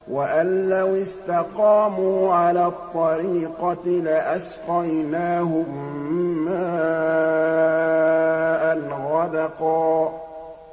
وَأَن لَّوِ اسْتَقَامُوا عَلَى الطَّرِيقَةِ لَأَسْقَيْنَاهُم مَّاءً غَدَقًا